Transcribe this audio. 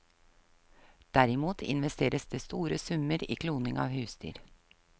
Derimot investeres det store summer i kloning av husdyr.